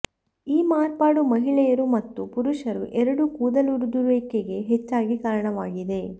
ಈ ಮಾರ್ಪಾಡು ಮಹಿಳೆಯರು ಮತ್ತು ಪುರುಷರು ಎರಡೂ ಕೂದಲುದುರುವಿಕೆಗೆ ಹೆಚ್ಚಾಗಿ ಕಾರಣವಾಗಿದೆ